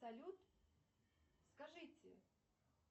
салют скажите